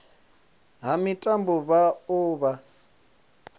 ha mitambo vha o vha